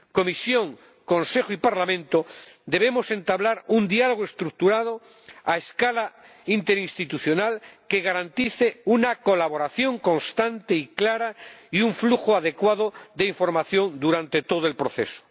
Comisión, Consejo y Parlamento debemos entablar un diálogo estructurado, a escala interinstitucional, que garantice una colaboración constante y clara y un flujo adecuado de información durante todo el proceso.